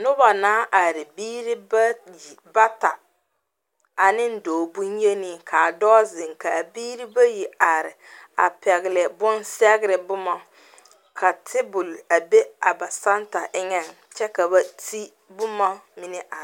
Noba naŋ are biire bayi, bata ane doɔ bonyeni . Ka a doɔ zeŋ ka a biire bayi are a pɛgle bon sɛgre boma. Ka tabul a be a ba santa eŋe kyɛ ka ba te boma mene are